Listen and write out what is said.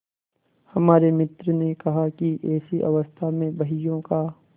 हमारे मित्र ने कहा कि ऐसी अवस्था में बहियों का